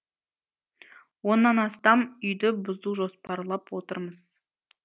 оннан астам үйді бұзу жоспарлап отырмыз